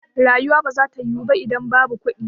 Rayuwa ba za ta yiwu ba idan babu kuɗi